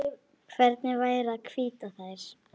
Hvernig væri að hvítta þær?